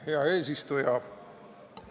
Hea eesistuja!